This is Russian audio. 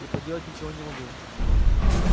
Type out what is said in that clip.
и поделать ничего не могу